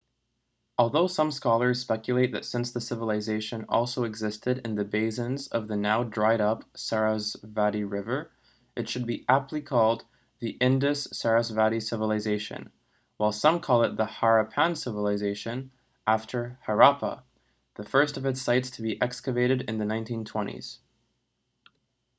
although some scholars speculate that since the civilisation also existed in the basins of the now dried up sarasvati river it should be aptly called the indus-sarasvati civilization while some call it the harappan civilization after harappa the first of its sites to be excavated in the 1920s